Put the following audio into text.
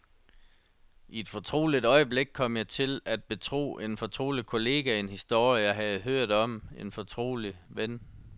I et fortroligt øjeblik kom jeg til at betro en fortrolig kollega en historie, jeg havde hørt om en fortrolig ven.